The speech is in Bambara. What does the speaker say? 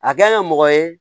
A kɛla mɔgɔ ye